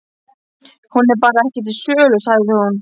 Hún er bara ekki til sölu, sagði hún.